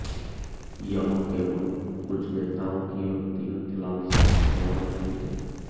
यह केवल कुछ नेताओं की व्यक्तिगत लालसा का सवाल नहीं है